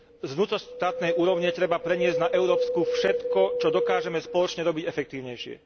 Z vnútroštátnej úrovne treba preniesť na európsku všetko, čo dokážeme spoločne robiť efektívnejšie.